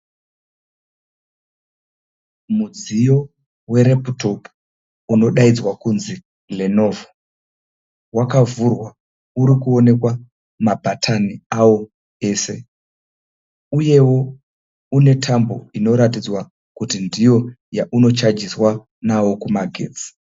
Mudziyo wereputopu unodaidzwa kunzi lenovo, wakavhurwa urikuonekwa mabhatani awo ese uyewo une tambo inoratidza kuti ndiyo yaunochajiswa nawo kumagetsi.